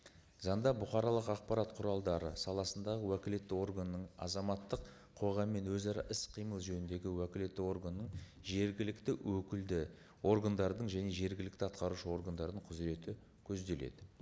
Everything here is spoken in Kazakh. заңда бұқаралық ақпарат құралдары саласындағы уәкілетті органның азаматтық қоғаммен өзара іс қимыл жөніндегі уәкілетті органның жергілікті өкілді органдардың және жергілікті атқарушы органдардың құзыреті көзделеді